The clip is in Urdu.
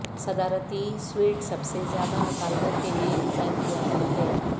صدارتی سویٹ سب سے زیادہ مطالبہ کے لئے ڈیزائن کیا گیا ہے